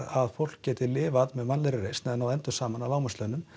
að fólk geti lifað með mannlegri reisn og náð endum saman á lágmarkslaunum